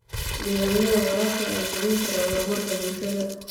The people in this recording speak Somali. Nidaamyada waraabka ayaa saameyn kara horumarka bulshada.